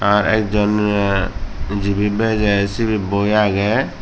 aa ekjon eh jibey bejei sibey boi agey.